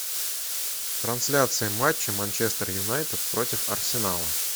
трансляция матча манчестер юнайтед против арсенала